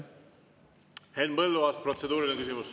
Henn Põlluaas, protseduuriline küsimus.